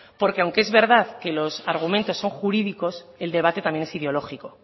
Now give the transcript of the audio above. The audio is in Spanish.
porque aunque es verdad que los argumentos son jurídicos el debate también es ideológico